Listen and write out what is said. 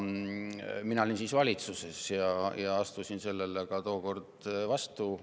Mina olin siis valitsuses ja astusin tookord sellele vastu.